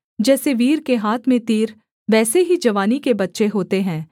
जैसे वीर के हाथ में तीर वैसे ही जवानी के बच्चे होते हैं